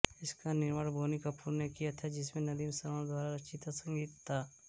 इसका निर्माण बोनी कपूर ने किया था जिसमें नदीमश्रवण द्वारा रचित संगीत था